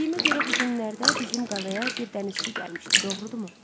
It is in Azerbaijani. Bildiyimə görə bu günlərdə bizim qalaya bir dənizçi gəlmişdi, doğrudurmu?